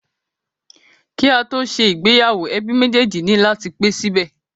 Ki a to ṣe ìgbéyàwó, ẹbí méjèjì ni lati pe sibẹ.